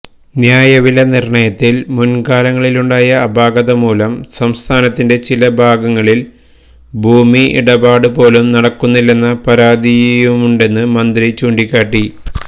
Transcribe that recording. ന്യായവില നിർണയത്തിൽ മുൻകാലങ്ങളിലുണ്ടായ അപാകത മൂലം സംസ്ഥാനത്തിന്റെ ചില ഭാഗങ്ങളിൽ ഭൂമി ഇടപാടുപോലും നടക്കുന്നില്ലെന്ന പരാതിയുണ്ടെന്നു മന്ത്രി ചൂണ്ടിക്കാട്ടി